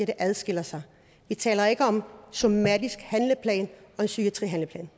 det adskiller sig vi taler ikke om en somatisk handleplan og en psykiatrihandleplan